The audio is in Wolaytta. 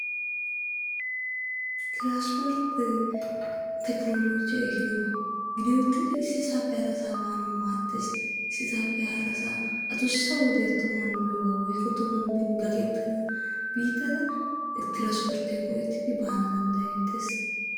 Tiransporttee tekinoolojjee eehidoba. Gidi uttidi issisappe harasaa baanassi maaddees. Issisaappe harasaa adussa ogiyaa woykko tohuwaan bin gaaketennasa tiransporttiyaa go"ettiko baana dandayettees.